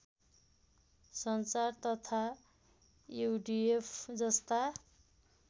सञ्चार तथा युडिएफ जस्ता